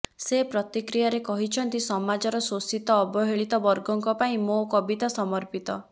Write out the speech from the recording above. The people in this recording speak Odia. ସେ ପ୍ରତିକ୍ରିୟାରେ କହିଛନ୍ତି ସମାଜର ଶୋଷିତ ଅବହେଳିତ ବର୍ଗଙ୍କ ପାଇଁ ମୋ କବିତା ସମର୍ପିତ